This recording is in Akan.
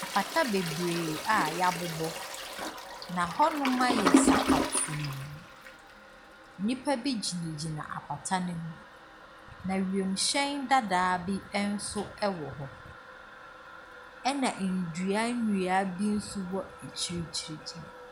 Pata bebree a yɛabobɔ, na hɔnom ayɛ sakatuu. Nnipa bi gyinagyina apata no ho. Na wiemhyɛn dadaa bi nso ɛwɔ hɔ. Ɛna nnua nnua bi nso wɔ akyirikyirikyiri.